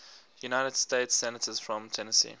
united states senators from tennessee